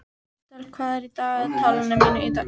Estel, hvað er í dagatalinu mínu í dag?